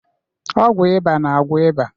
Ọgwụ ịba na-agwọ ịba.